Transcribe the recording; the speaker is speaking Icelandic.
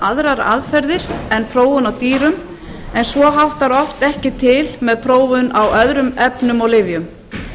aðrar aðferðir en prófun á dýrum en svo háttar oft ekki til með prófun á öðrum efnum og lyfjum